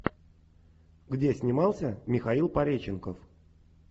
где снимался михаил пореченков